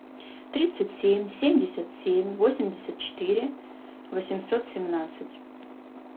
тридцать семь семьдесят семь восемьдесят четыре восемьсот семнадцать